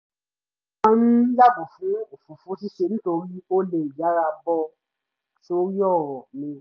mo máa ń yàgò fún òfófó ṣíṣe nítorí ó lè yára bọ́ sórí ọ̀rọ̀ mi